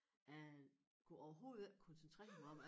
Jeg kunne overhovedet ikke koncentrere mig om det